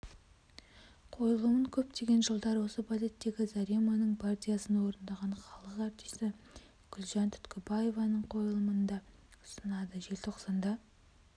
қойлымын көптеген жылдар осы балеттегі зареманың партиясын орындаған халық артисі гүлжан түткібаеваның қойылымында ұсынады желтоқсанда